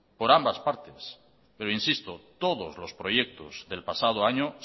por ambas partes pero insisto todos los proyectos del pasado año